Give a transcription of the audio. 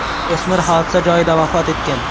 O‘smir hodisa joyida vafot etgan.